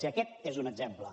i aquest és un exemple